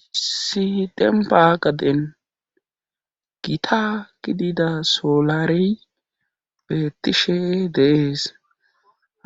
Issi dembaqaden gita gidida soolary beettishe dees